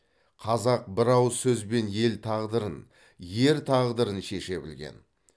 қазақ бір ауыз сөзбен ел тағдырын ер тағдырын шеше білген